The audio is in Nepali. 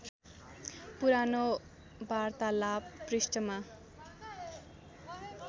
पुरानो वार्तालाव पृष्ठमा